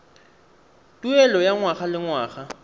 tuelo ya ngwaga le ngwaga